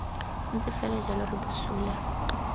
ntse fela jalo re bosula